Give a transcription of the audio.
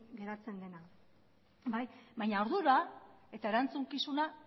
geratzen dena baina ardura eta erantzukizuna